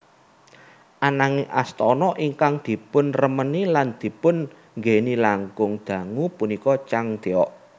Ananging astana ingkang dipunremeni lan dipun nggèni langkung dangu punika Changdeok